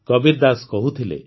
କବୀର ଦାଶ କହୁଥିଲେ